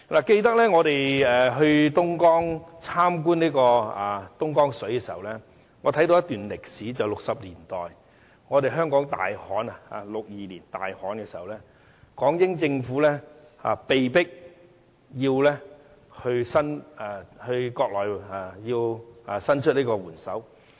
記得我們到東江參觀東江水時，我看到一段1960年代的歷史，就是香港在1962年大旱災時，港英政府被迫要求內地伸出援手。